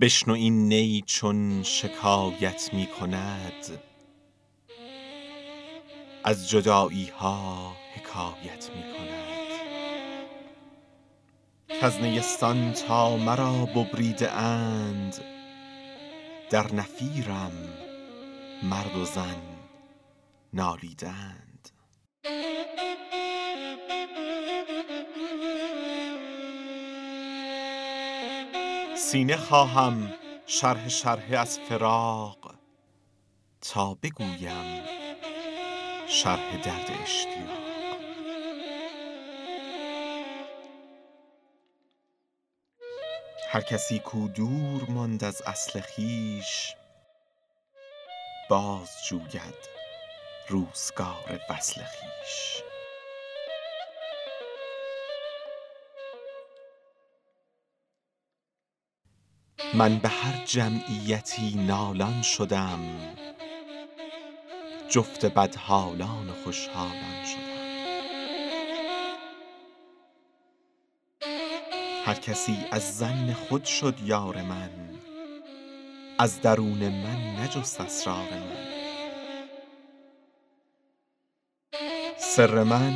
بشنو این نی چون شکایت می کند از جدایی ها حکایت می کند کز نیستان تا مرا ببریده اند در نفیرم مرد و زن نالیده اند سینه خواهم شرحه شرحه از فراق تا بگویم شرح درد اشتیاق هر کسی کو دور ماند از اصل خویش باز جوید روزگار وصل خویش من به هر جمعیتی نالان شدم جفت بدحالان و خوش حالان شدم هر کسی از ظن خود شد یار من از درون من نجست اسرار من سر من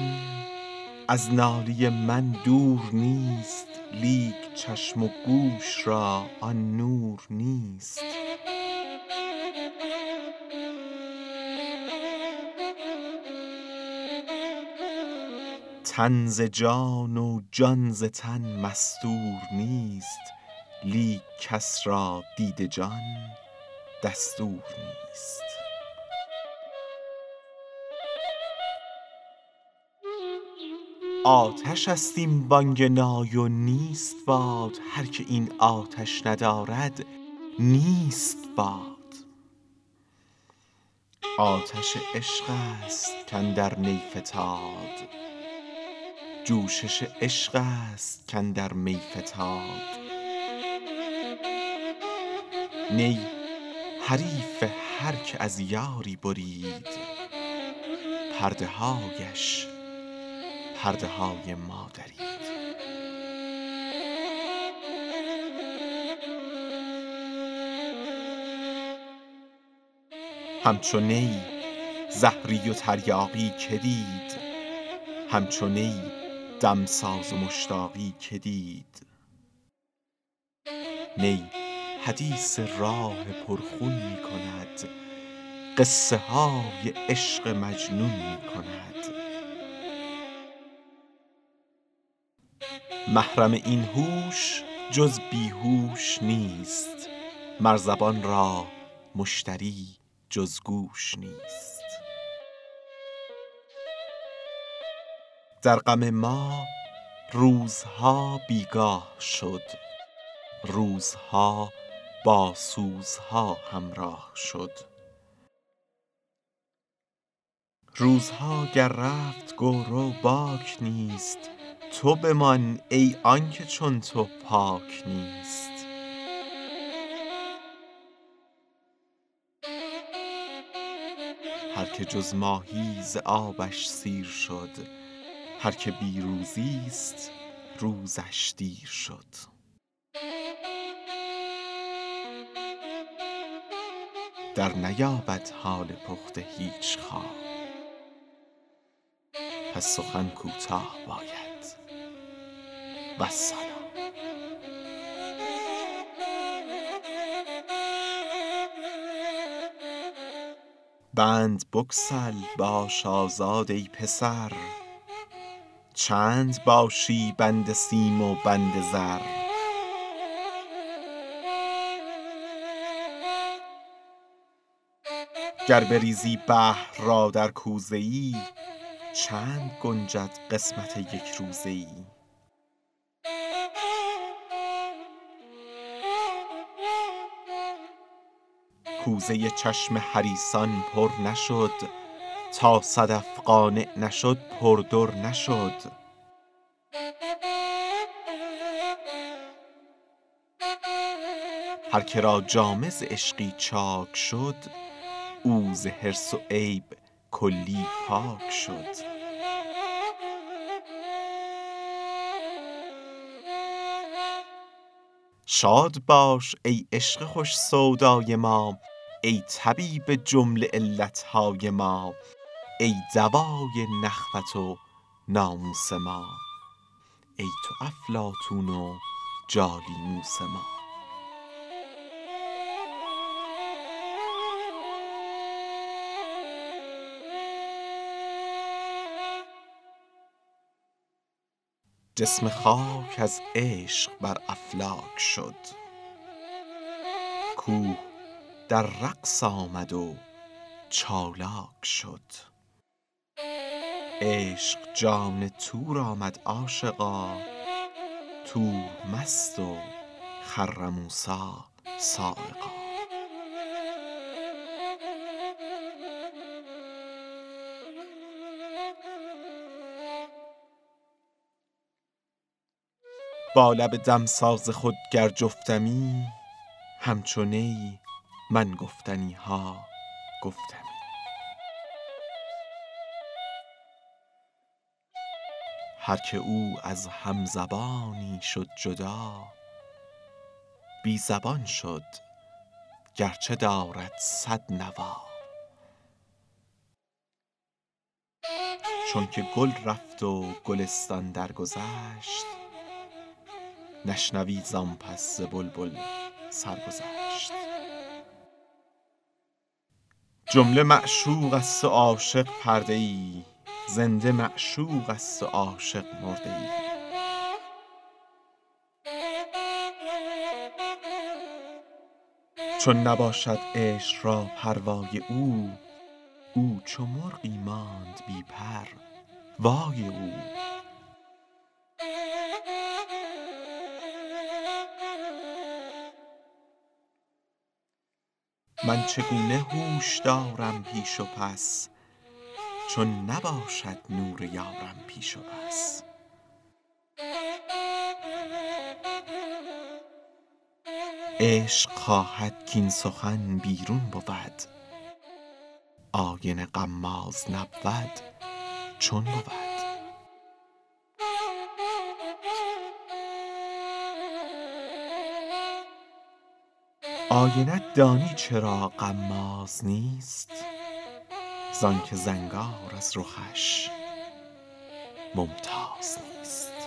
از ناله من دور نیست لیک چشم و گوش را آن نور نیست تن ز جان و جان ز تن مستور نیست لیک کس را دید جان دستور نیست آتش است این بانگ نای و نیست باد هر که این آتش ندارد نیست باد آتش عشق است کاندر نی فتاد جوشش عشق است کاندر می فتاد نی حریف هر که از یاری برید پرده هایش پرده های ما درید همچو نی زهری و تریاقی که دید همچو نی دمساز و مشتاقی که دید نی حدیث راه پر خون می کند قصه های عشق مجنون می کند محرم این هوش جز بی هوش نیست مر زبان را مشتری جز گوش نیست در غم ما روزها بیگاه شد روزها با سوزها همراه شد روزها گر رفت گو رو باک نیست تو بمان ای آنکه چون تو پاک نیست هر که جز ماهی ز آبش سیر شد هر که بی روزی ست روزش دیر شد در نیابد حال پخته هیچ خام پس سخن کوتاه باید والسلام بند بگسل باش آزاد ای پسر چند باشی بند سیم و بند زر گر بریزی بحر را در کوزه ای چند گنجد قسمت یک روزه ای کوزه چشم حریصان پر نشد تا صدف قانع نشد پر در نشد هر که را جامه ز عشقی چاک شد او ز حرص و عیب کلی پاک شد شاد باش ای عشق خوش سودای ما ای طبیب جمله علت های ما ای دوای نخوت و ناموس ما ای تو افلاطون و جالینوس ما جسم خاک از عشق بر افلاک شد کوه در رقص آمد و چالاک شد عشق جان طور آمد عاشقا طور مست و خر موسیٰ‏ صعقا با لب دمساز خود گر جفتمی همچو نی من گفتنی ها گفتمی هر که او از هم زبانی شد جدا بی زبان شد گر چه دارد صد نوا چون که گل رفت و گلستان درگذشت نشنوی زآن پس ز بلبل سرگذشت جمله معشوق است و عاشق پرده ای زنده معشوق است و عاشق مرده ای چون نباشد عشق را پروای او او چو مرغی ماند بی پر وای او من چگونه هوش دارم پیش و پس چون نباشد نور یارم پیش و پس عشق خواهد کاین سخن بیرون بود آینه غماز نبود چون بود آینه ت دانی چرا غماز نیست زآن که زنگار از رخش ممتاز نیست